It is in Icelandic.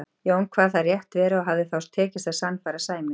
Jón kvað það rétt vera og hafði þá tekist að sannfæra Sæmund.